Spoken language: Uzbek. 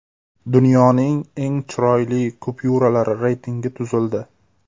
Dunyoning eng chiroyli kupyuralari reytingi tuzildi.